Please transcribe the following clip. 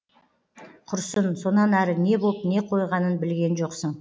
құрсын сонан ары не боп не қойғанын білген жоқсың